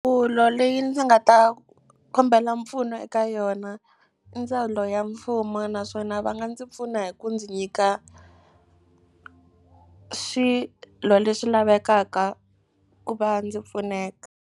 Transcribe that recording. Ndzawulo leyi ndzi nga ta kombela mpfuno eka yona i ndzawulo ya mfumo naswona va nga ndzi pfuna hi ku ndzi nyika swilo leswi lavekaka ku va ndzi pfuneka.